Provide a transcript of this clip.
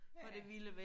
Ja